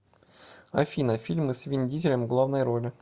афина фильмы с вин дизелем в главной роли